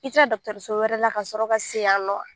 I taa la dɔgɔtɔrɔso wɛrɛ la ka sɔrɔ ka se yan nɔ a?